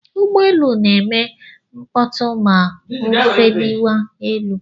Ụgbọelu na-eme mkpọtụ ma o efeliwa elu.